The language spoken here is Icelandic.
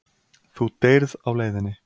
Þú deyrð á leiðinni.